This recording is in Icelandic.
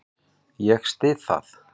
Ég styð það.